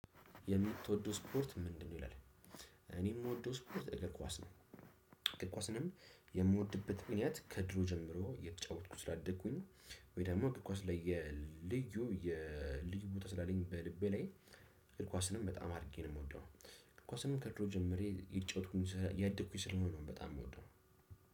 የምትወደው ስፖርት ምንድነው? ይላል እኔ የምወደው ስፖርት እግር ኳስ ነው። እግር ኳስንም የምወድበት ምክንያት ከድሮ ጀምሮ የተጫወትኩ ስላደግኩኝ። ወይ ደግሞእግር ኳስ ለየ ልዩ የልዩ ቦታ ስላለኝ በልቤ ላይ። ኳስንም በጣም አድርጌ ነው የምወደው። ኳስንም ከድሮ ጀምሬ እየተጫወትኩኝ ያደኩኝ ስለሆነ ነው በጣም የምወደው።